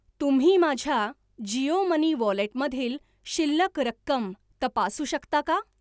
तुम्ही माझ्या जिओ मनी वॉलेटमधील शिल्लक रक्कम तपासू शकता का?